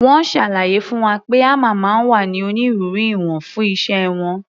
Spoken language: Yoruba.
Wọ́n ṣàlàyé fún wa pé hámà máa ń wá ní onírúurú ìwọ̀n fún iṣẹ́ wọn.